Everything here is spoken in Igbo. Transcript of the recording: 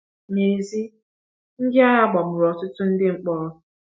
N’èzí, ndị agha gbagburu ọtụtụ ndị mkpọrọ.